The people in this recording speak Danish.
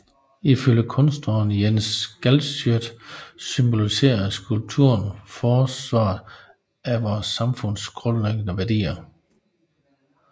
Ifølge kunstneren Jens Galschiøt symboliserer skulpturen forsvaret af vores samfunds grundlæggende værdier